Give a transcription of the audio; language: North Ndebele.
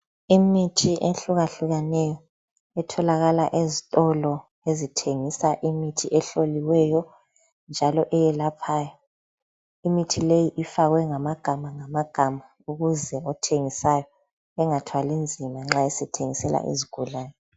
Imithi ehlukahlukeneyo etholakala ezitolo ezithengisa imithi ehloliweyo njalo eyelaphayo. Imithi leyi ifakwe ngama ngamagama ukuze othengisayo engathwali nzima nxa esethengisela izigulane.